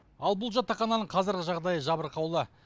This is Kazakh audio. ал бұл жатақхананың қазіргі жағдайы жабырқаулы